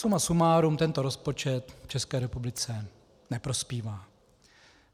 Suma sumárum, tento rozpočet České republice neprospívá.